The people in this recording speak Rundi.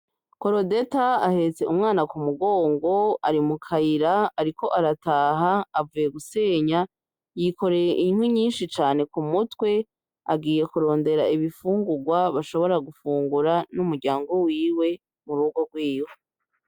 Korodeta ahetse umwana k’umugongo ari mukayira ariko arataha avuye gusenya yikoreye inkwi nyishi cane kumutwe agiye kurondera ibifungurwa bashobora gufungura n’umuryango wiwe murugo rwiwe